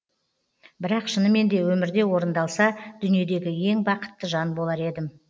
бірақ шынымен де өмірде орындалса дүниедегі ең бақытты жан болар едім